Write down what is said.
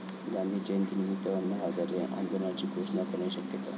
गांधी जयंतीनिमित्त अण्णा हजारे आंदोलनाची घोषणा करण्याची शक्यता